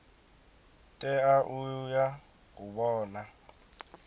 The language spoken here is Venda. tea u ya u vhona